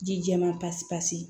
Ji jɛman pasi pasi